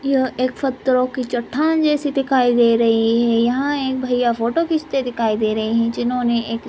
यह एक पत्थरो की छट्टान जैसी दिखाई दे रही हैं यहा एक भैय्या फोटो खिचते दिखाई दे रहे हैं जिन्होंने एक--